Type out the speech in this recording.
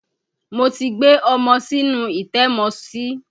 Mo ti gbé ọmọ sínú ilé ìtẹ́mọsí.